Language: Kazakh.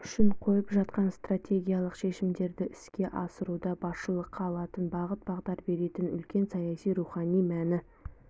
үшін қойып жатқан стратегиялық шешімдерді іске асыруда басшылыққа алатын бағыт-бағдар беретін үлкен саяси рухани мәні